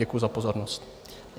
Děkuji za pozornost.